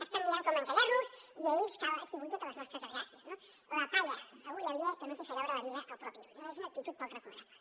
estan mirant com encallar los i a ells cal atribuir totes les nostres desgràcies no la palla a ull aliè que no ens deixa veure la biga al propi ull no és una actitud poc recomanable